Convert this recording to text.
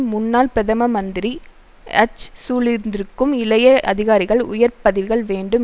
முன்னாள் பிரதமமந்திரி அச் சூழ்ந்திருக்கும் இளைய அதிகாரிகள் உயர்பதவிகள் வேண்டும்